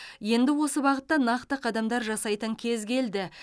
енді осы бағытта нақты қадамдар жасайтын кез келді